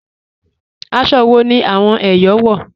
Àṣọ́ wọ̀ ni awọn Èyọ̀ wọ́?